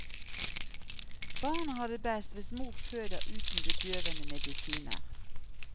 Barnet har det best hvis mor føder uten bedøvende medisiner.